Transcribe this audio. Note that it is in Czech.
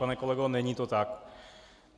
Pane kolego, není to tak.